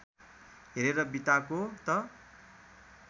हेरेर बिताको त